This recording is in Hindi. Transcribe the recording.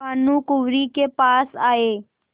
भानुकुँवरि के पास आये